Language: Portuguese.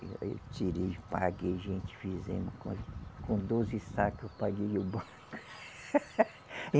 Eu tirei, paguei, gente fizemos com, com doze sacos, eu paguei o banco.